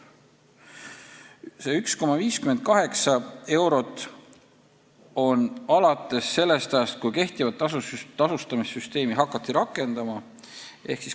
See 1,58 eurot kehtib sellest ajast, kui praegust tasustamissüsteemi hakati rakendama.